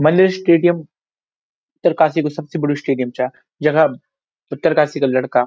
Maner stadium Uttarkashi कु सबसे बडू स्टैडियम चा जखा उत्तरकाशी का लड़का --